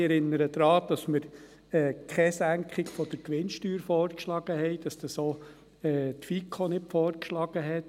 Ich erinnere daran, dass wir keine Senkung der Gewinnsteuer vorgeschlagen haben, dass dies auch die FiKo nicht vorgeschlagen hat.